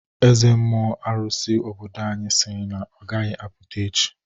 Eze mmụọ arụsị obodo anyị siri na ọgaghi apụta echi.